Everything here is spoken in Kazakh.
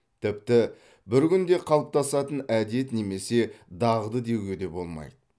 тіпті бір күнде қалыптасатын әдет немесе дағды деуге де болмайды